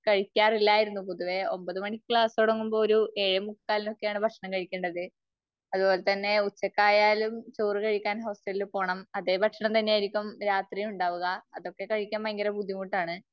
കഴിക്കാറില്ലായിരുന്നു. പൊതുവെ ഒമ്പത് മണിക്ക് ക്ലാസ് തുടങ്ങുമ്പോ ഒരു ഏഴേ മുക്കാലിന് ഒക്കെയാണ് ഭക്ഷണം കഴിക്കേണ്ടത്. അത്പോലെ തന്നെ ഉച്ചയ്ക്ക് ആയാലും ചോറ് കഴിക്കാന് ഹോസ്റ്റലിൽ പോവണം. അതേ ഭക്ഷണം തന്നെ ആയിരിക്കും രാത്രിയും ഉണ്ടാവുക. അതൊക്കെ കഴിക്കാന് ഭയങ്കര ബുദ്ധിമുട്ടാണ്